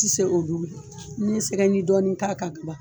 Ti se olu n'i ye sɛgɛji dɔɔnin k'a kan ka ban